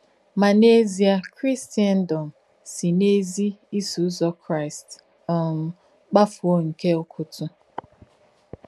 Mà n’ézíē, Krìsèndòm sì n’èzí Ìsọ̀ Ụ́zọ̀ Kráīst um kpàfùọ̀ nkè úkùtú.